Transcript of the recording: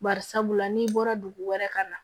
Bari sabula n'i bɔra dugu wɛrɛ ka na